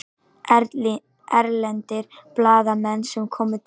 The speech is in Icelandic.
Erlendir blaðamenn sem koma til